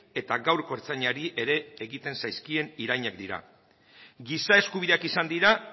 eta gaurko ertzainari ere egiten zaizkien irainak dira giza eskubideak izan dira